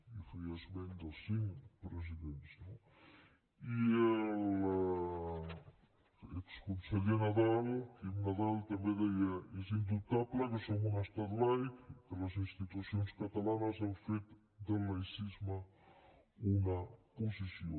i feia esment dels cinc presidents no i l’exconseller nadal quim nadal també deia és indubtable que som un estat laic i que les institucions catalanes han fet del laïcisme una posició